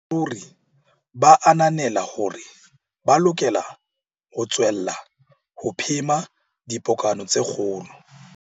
Mme ruri ba ananela hore ba lokela ho tswella ho phema dipokano tse kgolo.